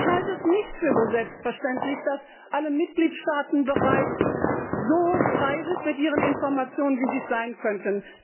Ich halte es nicht für selbstverständlich, dass alle Mitgliedstaaten bereits so frei sind mit ihren Informationen, wie sie es sein könnten.